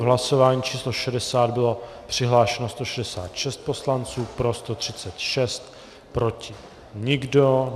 V hlasování číslo 60 bylo přihlášeno 166 poslanců, pro 136, proti nikdo.